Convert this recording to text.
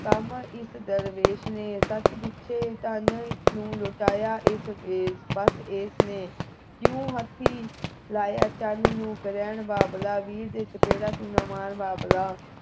ਕੰਮ ਇਸ ਦਰਵੇਸ਼ ਨੇ ਸੱਚ ਪੁੱਛੇ ਧਨ ਨੂੰ ਲੁਟਾਇਆ ਇਸ ਵੈਸ਼ ਬਸ ਏਸ ਨੇ ਕਿਉਂ ਹੱਥੀਂ ਲਾਇਆ ਚੰਨ ਨੂੰ ਗ੍ਰਹਿਣ ਬਾਬਲਾ ਵੀਰ ਦੇ ਛੱਪੜਾ ਤੂੰ ਨਾ ਮਾਰ ਬਾਬੁਲਾ